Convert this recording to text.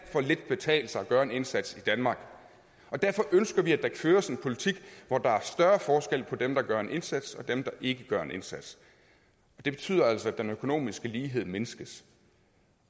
betale sig at gøre en indsats i danmark og derfor ønsker vi at der føres en politik hvor der er større forskel på dem der gør en indsats og dem der ikke gør en indsats og det betyder altså at den økonomiske lighed mindskes